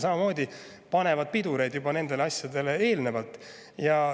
Samamoodi eelmine Liisa Pakosta.